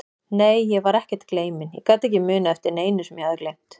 Nei, ég var ekkert gleyminn, ég gat ekki munað eftir neinu sem ég hafði gleymt.